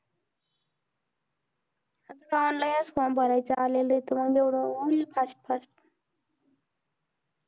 onlineform भरायचं आलाय म्हणजे होऊन जाईल fastfast